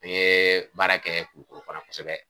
N me baara kɛ kulikoro fana kosɛbɛ